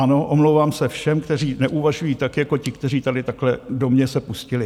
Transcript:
Ano, omlouvám se všem, kteří neuvažují tak jako ti, kteří tady takhle do mě se pustili.